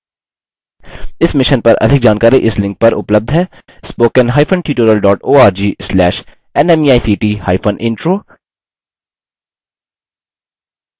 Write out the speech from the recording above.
इस mission पर अधिक जानकारी इस लिंक पर उपलब्ध है